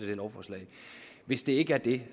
her lovforslag hvis det ikke er det